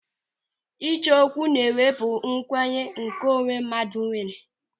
Ịcho okwu na-ewepụ nkwenye nke onwe mmadụ nwere.